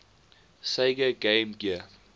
sega game gear